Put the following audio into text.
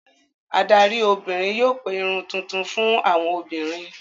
Adarí obìnrin yóò pe Irun tuntun fún àwọn obìnrin.